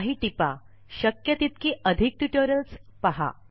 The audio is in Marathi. काही टिपा ः शक्य तितकी अधिक ट्युटोरियल्स पहा